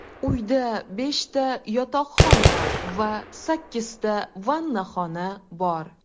Uyda beshta yotoqxona va sakkizta vannaxona bor.